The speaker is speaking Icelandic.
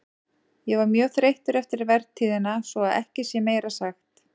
Ég var mjög þreyttur eftir vertíðina svo að ekki sé meira sagt.